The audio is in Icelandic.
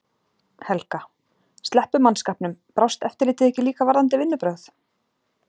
Helga: Sleppum mannskapnum. brást eftirlitið ekki líka varðandi vinnubrögð?